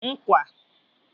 ńkwà